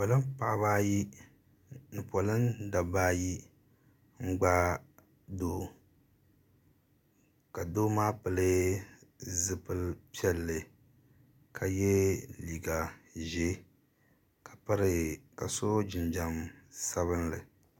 Polin paɣaba ayi ni polin dabba ayi n gbaai doo ka doo maa pili zipili piɛlli ka ye liiga zɛɛ ka so jinjam sabinli.